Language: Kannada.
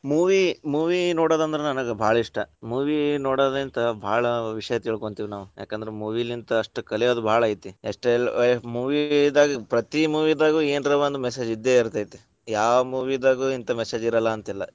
Movie, movie ನೋಡೋದಂದ್ರ ನನಗ ಭಾಳ ಇಷ್ಟ. movie ನೋಡೊದಿಂತ ಭಾಳ ವಿಷಯ ತಿಳಕೊಂತಿವಿ ನಾವ್. ಯಾಕಂದ್ರ movie ಲಿಂತ ಅಷ್ಟ್ ಕಲಿಯೊದ್ ಭಾಳ ಐತಿ. ಎಷ್ಟೆ movie ದಾಗ ಪ್ರತಿ movie ದಾಗು ಎನರೊಂದ message ಇದ್ದೇ ಇರ್ತೇತಿ. ಯಾವ್ movie ದಾಗು ಇಂತಾ message ಇರಲ್ಲಾ ಅಂತಿಲ್ಲಾ.